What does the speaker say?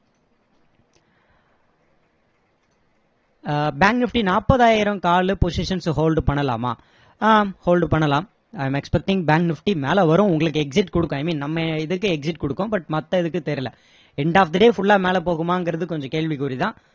ஆஹ் bank nifty நாப்பதாயிரம் call positions hold பண்ணலாமா ah hold பண்ணலாம் i am expecting bank nifty மேல வரும் உங்களுக்கு exit கொடுக்கும் i mean நம்ம இதுக்கு exit கொடுக்கும் but மத்த இதுக்கு தெரியல end of the day full ஆ மேல போகுமான்றது கொஞ்சம் கேள்விக்குறி தான்